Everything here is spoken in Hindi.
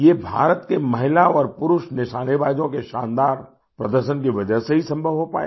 ये भारत के महिला और पुरुष निशानेबाजों के शानदार प्रदर्शन की वजह से ही संभव हो पाया